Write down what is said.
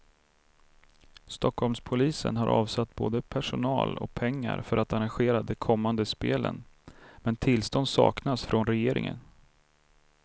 Stockholmspolisen har avsatt både personal och pengar för att arrangera de kommande spelen, men tillstånd saknas från regeringen.